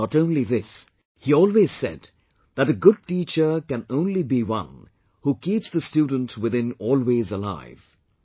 Not only this, he always said that "a good teacher can only be one who keeps the student within always alive"